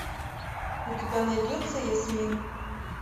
у тебя найдется ясмин